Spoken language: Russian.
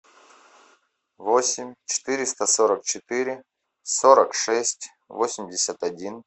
восемь четыреста сорок четыре сорок шесть восемьдесят один